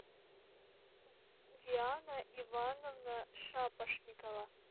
диана ивановна шапошникова